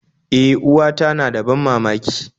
E, uwata na da ban mamaki